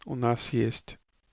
у нас есть